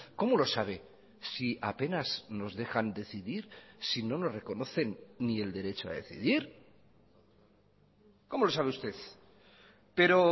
cómo lo sabe si apenas nos dejan decidir si no nos reconocen ni el derecho a decidir cómo lo sabe usted pero